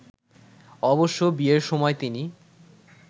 অবশ্য বিয়ের সময় তিনি